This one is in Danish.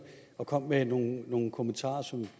og kom med nogle nogle kommentarer som